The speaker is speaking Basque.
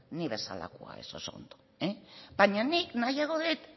ni bezalakoa ezo oso ongi baina nik nahiago dut